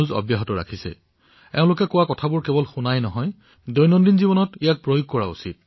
এওঁলোকে যি কথা আমাক কৈছে সেয়া কেৱল শুনাই নহয় বৰঞ্চ পালনো কৰিব লাগিব